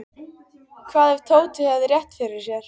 Hvað ef Tóti hefði rétt fyrir sér?